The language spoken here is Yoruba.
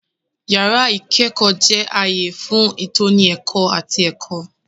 Yàrá ìkẹ́kọ̀ọ́ jẹ́ ààyè fún ìtọ́ni ẹ̀kọ́ àti ẹ̀kọ́.